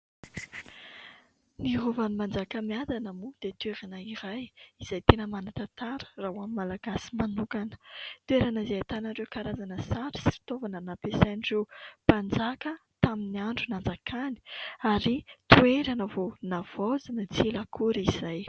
Ny rovan'ny Manjakamiadana moa dia toerana iray izay tena manan-tantara raha ho an'ny malagasy manokana. Toerana izay ahitana ireo karazana sary sy fitaovana nampiasain'ireo mpanjaka tamin'ny andro nanjakany ary toerana vao navaozina tsy ela akory izay.